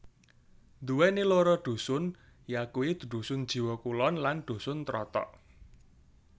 Nduwèni loro dusun yakuwi Dusun Jiwo Kulon lan Dusun Trotok